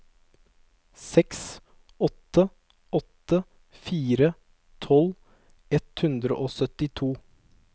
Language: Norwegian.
seks åtte åtte fire tolv ett hundre og syttito